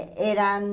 Eram...